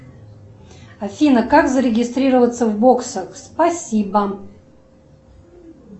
афина как зарегистрироваться в боксах спасибо